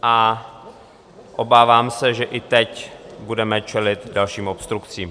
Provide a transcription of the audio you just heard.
A obávám se, že i teď budeme čelit dalším obstrukcím.